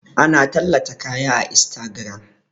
Ana tallata kaya a instagiram